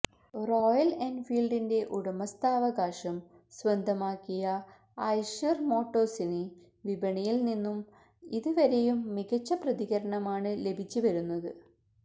Royal എന്ഫീല്ഡിന്റെ ഉടമസ്ഥാവകാശം സ്വന്തമാക്കിയ ഐഷര് മോട്ടോര്സിന് വിപണിയില് നിന്നും ഇത് വരെയും മികച്ച പ്രതികരണമാണ് ലഭിച്ച് വരുന്നത്